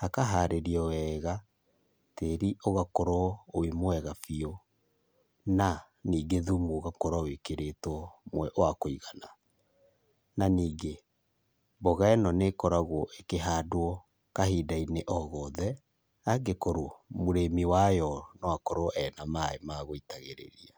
hakaharĩrio wega, tĩri ũgakorwo wĩ mwega biũ, na ningĩ thumũ ũgakorwo wĩkĩrĩtwo wa kũigana. Na ningĩ mboga ĩno nĩkoragwo ĩkĩhandwo kahindainĩ o gothe, angĩkorwo mũrĩmi wayo no akorwo ena maaĩ ma gũitagĩrĩria.